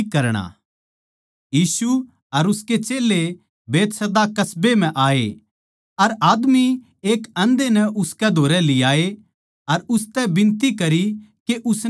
यीशु अर उसके चेल्लें बैतसैदा कस्बे म्ह आए अर आदमी एक आंधे नै उसकै धोरै लियाये अर उसतै बिनती करी के उसनै छुवै